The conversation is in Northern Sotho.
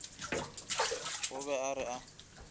o be a re a